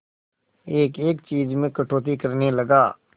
एक एक चीज में कटौती करने लगा